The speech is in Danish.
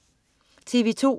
TV2: